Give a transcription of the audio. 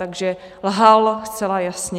Takže lhal zcela jasně.